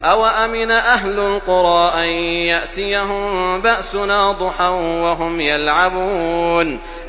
أَوَأَمِنَ أَهْلُ الْقُرَىٰ أَن يَأْتِيَهُم بَأْسُنَا ضُحًى وَهُمْ يَلْعَبُونَ